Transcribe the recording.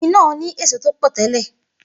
Igi náà ní èso tó pọ̀ tẹ́lè